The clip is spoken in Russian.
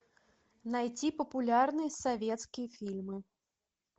найти популярные советские фильмы